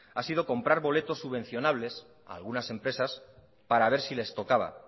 ha sido comprar boletos subvencionales a algunas empresas para ver si les tocaba